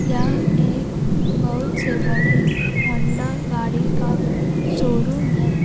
यह एक बहुत से बड़े होंडा गाड़ी का शोरूम है।